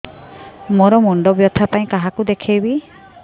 ମୋର ମୁଣ୍ଡ ବ୍ୟଥା ପାଇଁ କାହାକୁ ଦେଖେଇବି